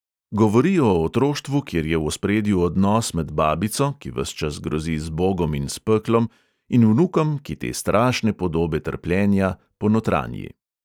Govori o otroštvu, kjer je v ospredju odnos med babico, ki ves čas grozi z bogom in s peklom, in vnukom, ki te strašne podobe trpljenja ponotranji.